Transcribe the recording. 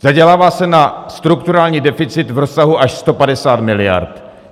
Zadělává se na strukturální deficit v rozsahu až 150 miliard.